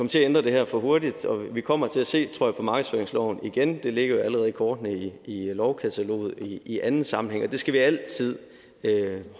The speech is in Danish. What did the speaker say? til at ændre det her for hurtigt vi kommer til at se på markedsføringsloven igen tror jeg det ligger allerede i kortene i lovkataloget i anden sammenhæng og det skal vi altid